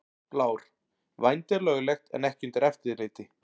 Blár: Vændi er löglegt en ekki undir eftirliti.